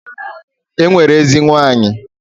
E nwere ezenwanyị.